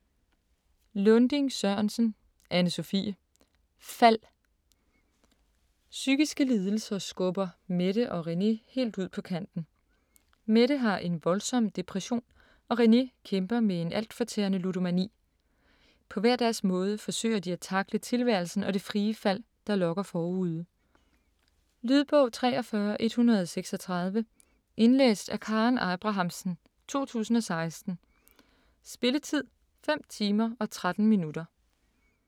Lunding-Sørensen, Anne-Sophie: Fald Psykiske lidelser skubber Mette og René helt ud på kanten. Mette har en voldsom depression og René kæmper med en altfortærende ludomani. På hver deres måde forsøger de at tackle tilværelsen og det frie fald, der lokker forude. Lydbog 43136 Indlæst af Karen Abrahamsen, 2016. Spilletid: 5 timer, 13 minutter.